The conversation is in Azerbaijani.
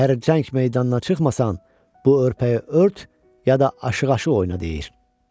Əgər cəng meydanına çıxmasan, bu örpəyi ört ya da aşığa aşiq oyna, deyir.